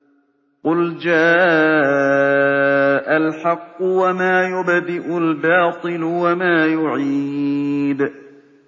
قُلْ جَاءَ الْحَقُّ وَمَا يُبْدِئُ الْبَاطِلُ وَمَا يُعِيدُ